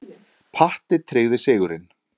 Patti tryggði sigurinn.